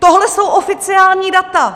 Tohle jsou oficiální data!